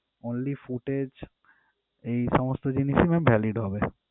Only footage এই সমস্ত জিনিসই ma'am valid হবে।